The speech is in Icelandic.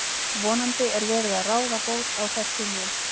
Vonandi er verið að ráða bót á þessu nú.